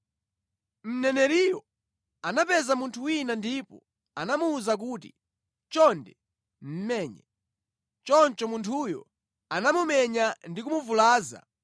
Mneneriyo anapeza munthu wina ndipo anamuwuza kuti, “Chonde, menye.” Choncho munthuyo anamumenya ndi kumuvulaza.